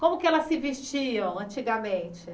Como que elas se vestiam antigamente?